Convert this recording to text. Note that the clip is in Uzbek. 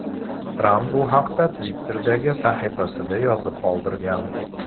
Tramp bu haqda Twitter’dagi sahifasida yozib qoldirgan .